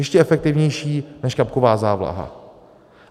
Ještě efektivnější než kapková závlaha.